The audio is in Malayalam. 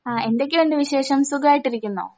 ആ എന്തൊക്കെയൊണ്ട് വിശേഷം സുഖവായിട്ടിരിക്കുന്നോ?